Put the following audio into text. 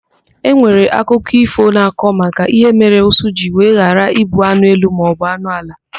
Enwere akụkọ ífò na-akọ maka ihe mere ụsụ jiri wee ghara ịbụ anụ elu maọbụ anụ ala.